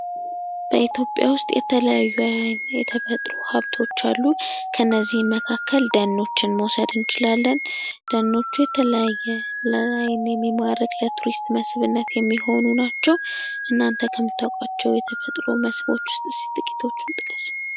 በኢትዮጵያ የተለያዩ የተፈጥሮ ሀብት አሉ። ከነዚህም ደኖችን መውሰድ እንችላለን ።ደኖች ለአይን የሚማርክ፣ ለቱሪስት መስህብነት የሚውሉ ናቸው። እናንተ ከምታውቋቸው የቱሪስት መስህቦች መካከል ጥቂቶቹን ጥቅሱ?